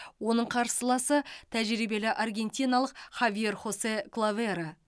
оның қарсыласы тәжірибелі аргентиналық хавьер хосе клаверо